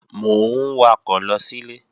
Mò ń wakọ̀ lọ sílé